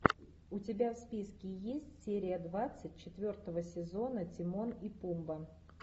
у тебя в списке есть серия двадцать четвертого сезона тимон и пумба